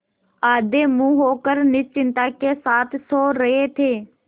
औंधे मुँह होकर निश्चिंतता के साथ सो रहे थे